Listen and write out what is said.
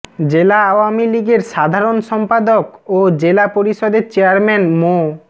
জেলা আওয়ামী লীগের সাধারণ সম্পাদক ও জেলা পরিষদের চেয়ারম্যান মো